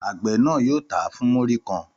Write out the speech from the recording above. Àgbẹ̀ náà yóò tà á fún múrí kan.